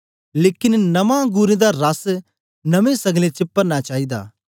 लेकन नया अंगुरें दा रस नमीं सगले च परना चाईदा